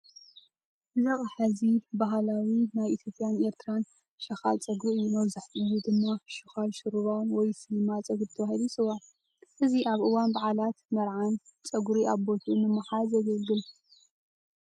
እዚ ኣቕሓ እዚ ባህላዊ ናይ ኢትዮጵያን ኤርትራዊ ሽኻል ፀጉሪ እዩ ።መብዛሕትኡ ግዜ ድማ "ሽኻል ሹሩባ" ወይ ስልማት ፀጉሪ ተባሂሉ ይጽዋዕ። እዚ ኣብ እዋን በዓላትን መርዓን ፀጉሪ ኣብ ቦታኡ ንምሓዝ የገልግል።